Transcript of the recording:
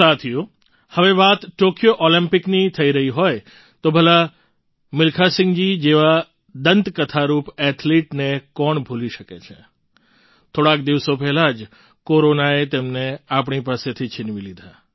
સાથીઓ હવે વાત ટૉક્યો ઑલિમ્પિકની થઈ રહી હોય તો ભલા મિલ્ખાસિંહજી જેવા દંતકથારૂપ એથ્લેટને કોણ ભૂલી શકે છે થોડાક દિવસો પહેલાં જ કોરોનાએ તેમને આપણી પાસેથી છિનવી લીધા